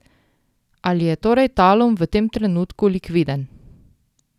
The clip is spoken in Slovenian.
Ali je torej Talum v tem trenutku likviden?